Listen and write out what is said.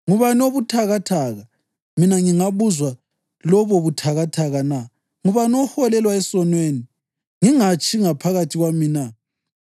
Ngubani obuthakathaka, mina ngingabuzwa lobo buthakathaka na? Ngubani oholelwa esonweni, ngingatshi ngaphakathi kwami na?